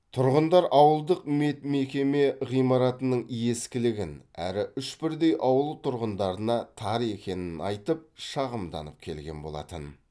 тұрғындар ауылдық медмекеме ғимаратының ескілігін әрі үш бірдей ауыл тұрғындарына тар екенін айтып шағымданып келген болатын